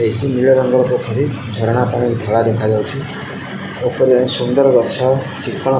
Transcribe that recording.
AC ନୀଳ ରଙ୍ଗର କୋଠରୀ ଝରଣା ପାଣି ଧଳା ଦେଖାଯାଉଛି। ଓପରେ ସୁନ୍ଦର ଗଛ ଚିକ୍କଣ --